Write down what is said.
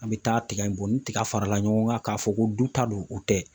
An bɛ taa tigɛ in bɔ ni tigɛ fara la ɲɔgɔn kan k'a fɔ ko du ta don o tɛ